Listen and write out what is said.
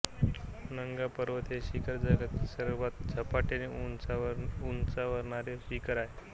नंगा पर्बत हे शिखर जगातील सर्वात झपाट्याने उंचावणारे शिखर आहे